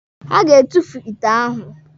Ha ga-etufu ite ahụ.